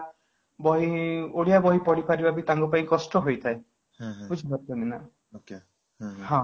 ବହି ଓଡ଼ିଆ ବହି ପଢ଼ିପାରିବା ବି ତାଙ୍କ ପାଇଁ କଷ୍ଟ ହେଇଥାଏ ବୁଝିପାରୁଛନ୍ତି ନା ହଁ